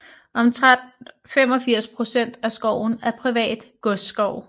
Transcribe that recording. Omtrent 85 procent af skoven er privat godsskov